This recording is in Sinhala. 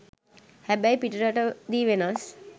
හැබැයි පිටරටදි වෙනස්